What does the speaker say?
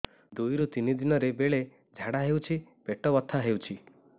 ଦୁଇରୁ ତିନି ଦିନରେ ବେଳେ ଝାଡ଼ା ହେଉଛି ପେଟ ବଥା ହେଉଛି